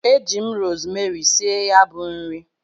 Eji m rosmeri sie ya bu nri.